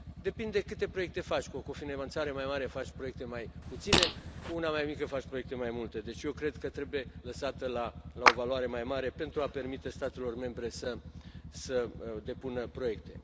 Depinde câte proiecte faci cu finanțare mai mare faci proiecte mai puține, cu una mai mică faci proiecte mai multe, deci eu cred că trebuie lăsată la o valoare mai mare pentru a permite statelor membre să depună proiecte.